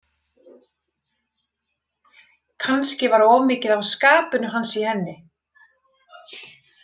Kannski var of mikið af skapinu hans í henni.